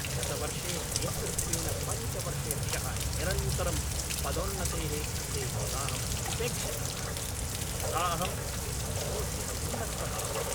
गतवर्षे नेतृत्वेन पञ्च वर्षेभ्यः निरन्तरं पदोन्नतेः कृते यदाहम् उपेक्षितः, तदा अहं क्रोधेन उन्मत्तः अभवम्।